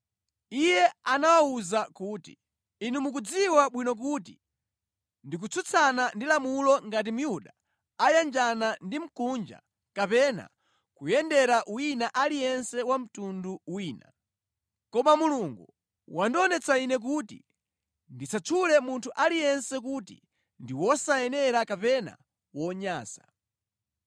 Iye anawawuza kuti, “Inu mukudziwa bwino kuti ndi kutsutsana ndi lamulo ngati Myuda ayanjana ndi Mkunja kapena kuyendera wina aliyense wa mtundu wina. Koma Mulungu wandionetsa ine kuti ndisatchule munthu aliyense kuti ndi wosayenera kapena wonyansa.